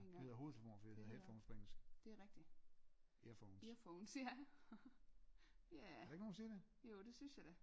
Det hedder hovedtelefoner for det hedder headphones på engelsk earphones er der ikke nogen der siger det?